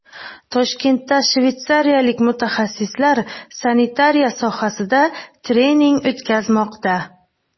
Toshkentda shveysariyalik mutaxassislar sanitariya sohasida trening o‘tkazmoqda.